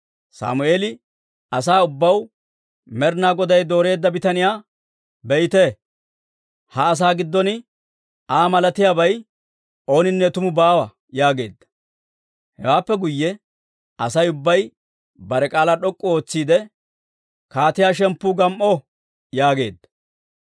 Sammeeli asaa ubbaw, «Med'inaa Goday dooreedda bitaniyaa be'iitee? Ha asaa giddon Aa malatiyaabay ooninne tumu baawa» yaageedda. Hewaappe guyye Asay ubbay bare k'aalaa d'ok'k'u ootsiidde, «Kaatiyaa shemppu gam"o» yaageedda.